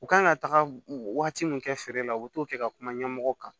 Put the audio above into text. U kan ka taga wagati mun kɛ feere la u bi t'o kɛ ka kuma ɲɛmɔgɔ kan